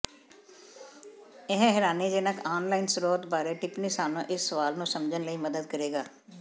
ਇਹ ਹੈਰਾਨੀਜਨਕ ਆਨਲਾਈਨ ਸਰੋਤ ਬਾਰੇ ਟਿੱਪਣੀ ਸਾਨੂੰ ਇਸ ਸਵਾਲ ਨੂੰ ਸਮਝਣ ਲਈ ਮਦਦ ਕਰੇਗਾ